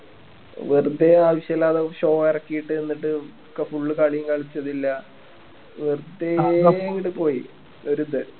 വെറുതേ ആവശ്യം ഇല്ലാതെ ഒരു show എറക്കീട്ട് എന്നിട്ട് ക full കളിയും കളിച്ചതില്ല വെറുതേ അങ്ങട്ട് പോയി വെറുതെ